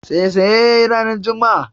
Saisaye ya yi ranar juma'a